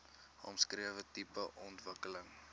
omskrewe tipe ontwikkeling